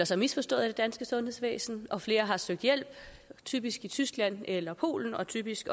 sig misforstået af det danske sundhedsvæsen og flere har søgt hjælp typisk i tyskland eller polen og typisk